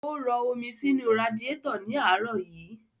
Ó rọ omi sínu radiétọ̀ ní àárọ̀ yí.